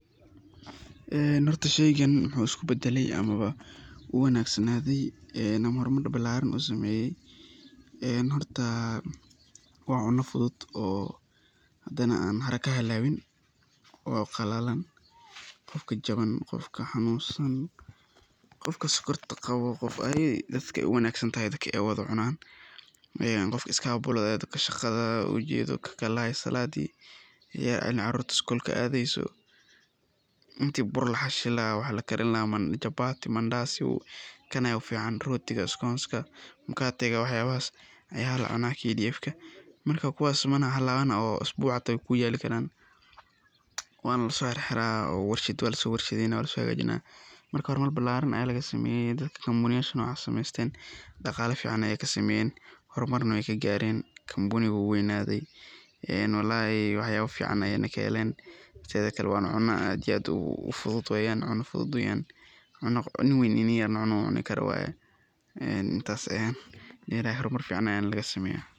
Sheygan wuxuu isku badale amaba uu uwanagsanaade ama hormar balaaran usameeye, horta waa cuno fudud oo hadane aan haraka halaabin oo qalalan, qofka jaban, qofka xanuunsan, qofka sokorta qabo, qof walbo dadka aay uwanagsan tahay dadka aay seexdaan wada cunaan, qofka iskabulada ah, dadka shaqada ukalahaayo salaadi, caruurta skuulka aadeyso, inti burka laxashi lahaa waxa lakarin lahaa chabati, Mandazi, kan ayaa u fican, rootiga, skonska, mukaatiga, wax yaabahas ayaa lacunaa, marka kuwaas mana halaaban oo isbuuc xitaa weey kuu yaali karaan, waana lasoo xirxiraa oo warashad waa lasoo hagaajinaa, marka hormar balaaran ayaa laga sameeye dadka[company]nocaas sameesteen, daqaala fican ayeey kasameeyen, hormarna weey kagaaren, wax yaaba fican ayeey kaheleen, teeda kale waana cuno aad iyo aad ufudud weeyan, cuno yar iyo weyn cuni karo weeyan, hormar fican ayaa laga sameeya.